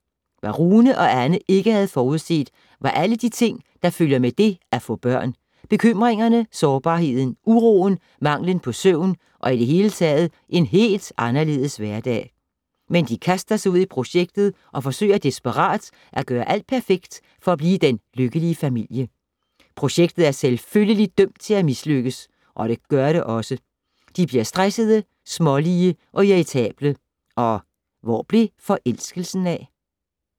Hvad Rune og Anne ikke havde forudset var alle de ting, der følger med det at få børn. Bekymringerne, sårbarheden, uroen, manglen på søvn og i det hele taget en helt anderledes hverdag. Men de kaster sig ud i projektet og forsøger desperat at gøre alt perfekt for at blive den lykkelige familie. Projektet er selvfølgelig dømt til at mislykkes og det gør det også. De bliver stressede, smålige og irritable. Og hvor blev forelskelsen af?